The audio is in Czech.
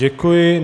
Děkuji.